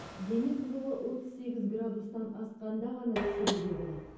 дене қызуы отыз сегіз градустан асқанда ғана түсіруге болады